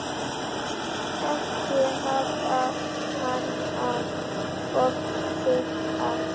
Ekki hafa hana of þykka.